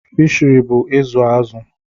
Fishiri bụ ịzụ azụ̀.